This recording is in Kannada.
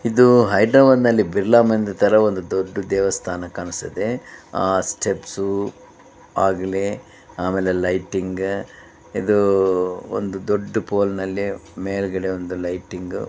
ಇದು ಹೈದರಾಬಾದ್ ನಲ್ಲಿ ಬಿರ್ಲಾ ಮಂದಿರ್ತರ ಒಂದು ದೊಡ್ಡ ದೇವಸ್ಥಾನ ಕಾಣುತ್ತದೆ. ಆ ಸ್ಟೆಪ್ಸ್ ಬಾಗ್ಲಿ ಆಮೇಲೆ ಲೈಟಿಂಗ್ ಇದು ಒಂದು ದೊಡ್ಡ ಫೋಲ್ ನಲ್ಲಿ ಮೇಲ್ಗಡೆ ಒಂದು ಲೈಟಿಂಗ್ --